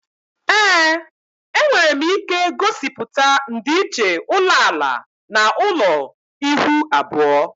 Ee, enwere m ike gosiputa ndịiche ulo ala na ulo ihuu abuo